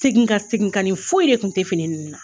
Segin kan, seginkanni foyi re kun tɛ fini ninnu na